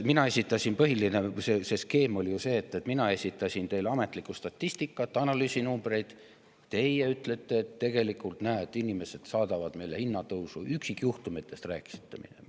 Põhiline skeem oli ju see, et mina esitasin teile ametlikku statistikat ja analüüsinumbreid, aga teie ütlesite, et tegelikult, näe, inimesed saadavad meile hinnatõusu, rääkisite üksikjuhtumitest.